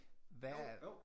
Hvad